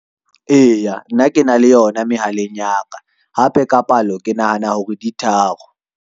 Eya, nna ke na le yona mehaleng ya ka, hape ka palo ke nahana hore di tharo.